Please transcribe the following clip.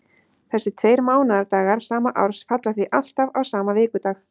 Þessir tveir mánaðardagar sama árs falla því alltaf á sama vikudag.